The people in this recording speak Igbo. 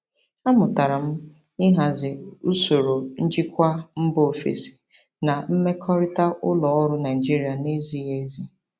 Amụtara m ịhazi usoro njikwa mba ofesi na mmekọrịta ụlọ ọrụ Naijiria na-ezighi ezi.